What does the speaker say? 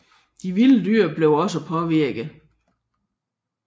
De vilde dyr blev også påvirket